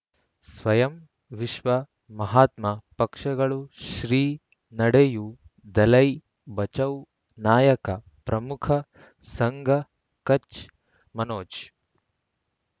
ಸ್ವಯಂ ವಿಶ್ವ ಮಹಾತ್ಮ ಪಕ್ಷಗಳು ಶ್ರೀ ನಡೆಯೂ ದಲೈ ಬಚೌ ನಾಯಕ ಪ್ರಮುಖ ಸಂಘ ಕಚ್ ಮನೋಜ್